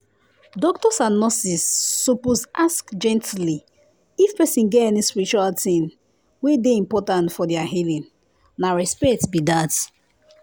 doctors and nurses suppose ask gently if person get any spiritual thing wey dey important for their healing—na respect be that